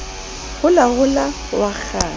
holahola o a kgasa o